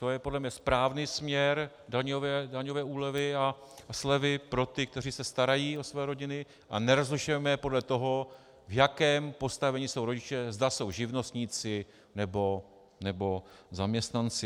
To je podle mě správný směr daňové úlevy a slevy pro ty, kteří se starají o své rodiny, a nerozlišujme je podle toho, v jakém postavení jsou rodiče, zda jsou živnostníci, nebo zaměstnanci.